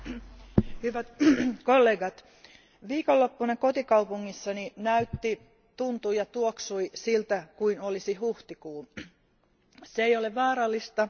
Arvoisa puhemies, hyvät kollegat, viikonloppuna kotikaupungissani näytti, tuntui ja tuoksui, siltä kuin olisi huhtikuu. Se ei ole vaarallista.